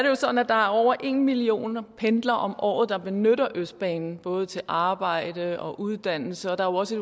jo sådan at der er over en million pendlere om året der benytter østbanen både til arbejde og uddannelse og der er også